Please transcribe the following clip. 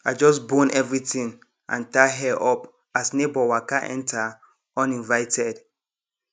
i just bone everything and tie hair up as neighbour waka enter uninvited